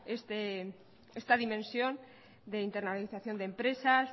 esta dimensión de internalización de empresas